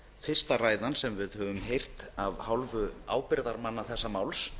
fyrsta ræðan sem við höfum heyrt af hálfu ábyrgðarmanna þessa máls